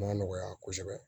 Ma nɔgɔya kosɛbɛ